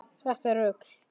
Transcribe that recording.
Þetta er rugl.